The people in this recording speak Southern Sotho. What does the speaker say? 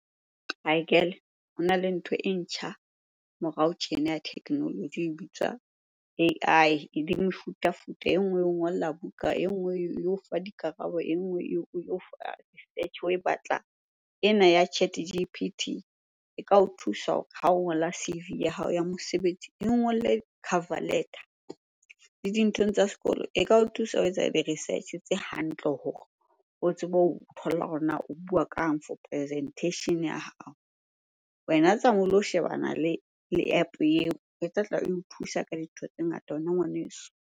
Hai girl-e, hona le ntho e ntjha morao tjena ya technology e bitswa A_I. Ebe mefutafuta, e nngwe eo ngola buka, e nngwe eo fa dikarabo, e nngwe eo batlang. Ena ya ChatG_P_T e ka o thusa hore ha o ngola C_V ya hao ya mosebetsi, eo ngolle cover letter. Le dinthong tsa sekolo e ka o thusa ho etsa research-e tse hantle hore o tsebe ho thola hore na o bua kang for presentation ya hao? Wena tsamaya o lo shebana le App eo. E tlatla eo thusa ka dintho tse ngata wena ngwaneso.